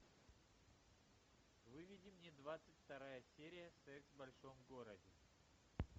выведи мне двадцать вторая серия секс в большом городе